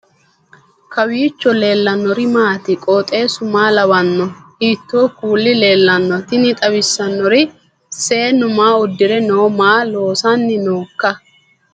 kowiicho leellannori maati ? qooxeessu maa lawaanno ? hiitoo kuuli leellanno ? tini xawissannori seennu maa udire no maa loosanni nooikka